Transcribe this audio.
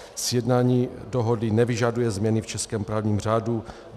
Sjednání dohody nevyžaduje změny v českém právním řádu.